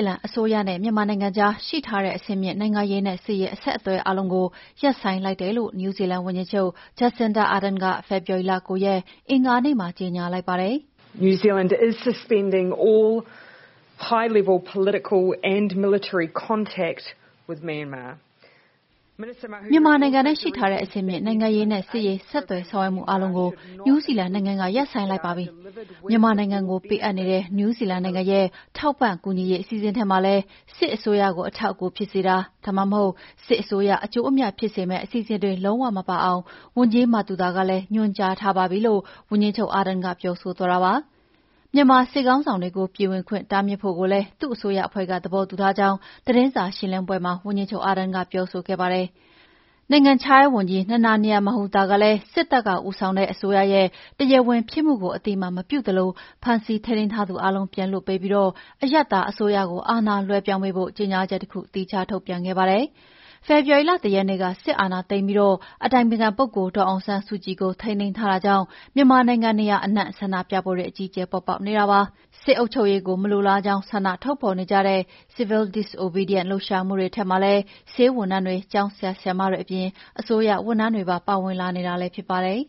ီလန်အစိုးရနဲ့ မြန်မာနိုင်ငံကြားက ရှိထားတဲ့ အဆင့်မြင့် နိုင်ငံရေးနဲ့ စစ်ဆေးအဆက်အသွယ်အားလုံးကို ရပ်ဆိုင်းလိုက်တယ်လို့ နယူးဇီလန်ဝန်ကြီးချုပ် Jacinda Arden က ဖေော်ဝါရီလ ၉ ရက်၊ အင်္ဂါနေ့မှာ ကြေငြာလိုက်ပါတယ်။ "မြန်မာနိုင်ငံနဲ့ ရှိထားတဲ့ အဆင့်မြင့်နိုင်ငံရေးနဲ့ စစ်ရေးဆက်သွယ်ဆောင်ရွက်မှုအားလုံးကို နယူးဇီလန်နိုင်ငံက ရပ်ဆိုင်းလိုက်ပါပြီ။ မြန်မာနိုင်ငံကို ပေးအပ်နေတဲ့ နယူးဇီလန်နိုင်ငံရဲ့ ထောက်ပံ့ကူညီရေးအစီအစဉ်ထဲမှာလည်း စစ်အစိုးရကို အထောက်အကူဖြစ်စေတာ၊ ဒါမှမဟုတ် စစ်အစိုးရ အကျိုးအမြတ်ဖြစ်စေမယ့် အစီအစဉ်တွေ လုံးဝမပါအောင် ဝန်ကြီး Mahuta ကလည်း ညွှန်ကြားထားပါပြီ။" လို့ ဝန်ကြီးချုပ် Arden ကပြောဆိုသွားတာပါ။ မြန်မာစစ်ခေါင်းဆောင်တွေကို ပြည်ဝင်ခွင့်တားမြစ်ဖို့ကိုလည်း သူ့အစိုးရအဖွဲ့က သဘောတူထားကြောင်း သတင်းစာရှင်းလင်းပွဲတခုမှာ ဝန်ကြီးချုပ် Arden က ပြောဆိုခဲ့ပါတယ်။ နိုင်ငံခြားရေးဝန်ကြီး Nanaia Mahuta ကလည်း စစ်တပ်ကဦးဆောင်တဲ့အစိုးရရဲ့ တရားဝင်ဖြစ်မှုကို အသိအမှတ်မပြုသလို ဖမ်းဆီးထိန်းသိမ်းထားသူအားလုံး ပြန်လွှတ်ပေးပြီး အရပ်သားအစိုးရကို အာဏာလွှဲပြောင်းပေးဖို့ ကြေငြာချက်တခု သီးခြားထုတ်ပြန်ခဲ့ပါတယ်။ ဖေဖော်ဝါရီလ ၁ ရက်နေ့ စစ်အာဏာသိမ်းပြီး အတိုင်ပင်ခံပုဂ္ဂိုလ်ဒေါ်အောင်ဆန်းစုကြည်ကို ထိန်းသိမ်းထားတာကြောင့် မြန်မာနိုင်ငံနေရာအနှံ့ ဆန္ဒပြပွဲတွေ အကြီးအကျယ်ပေါ်ပေါက်နေတာပါ။ စစ်အုပ်ချုပ်ရေးကို မလိုလားကြောင်း ဆန္ဒထုတ်ဖော်တဲ့အနေနဲ့ civil disobedience လှုပ်ရှားမှုတွေထဲမှာလည်း ဆေးဝန်ထမ်းတွေ၊ ကျောင်းဆရာဆရာမတွေအပြင် အစိုးရဝန်ထမ်းတွေပါ ပါဝင်လာနေတာလည်းဖြစ်ပါတယ်